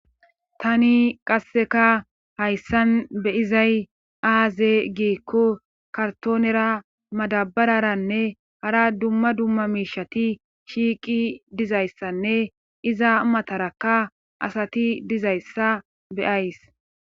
tani qasseka hayssan be izay aaze giikko kartoonera madabararanne hara dumma dumma miishati shiiqi dizayssanne iza matarakka asati dizayssa beyays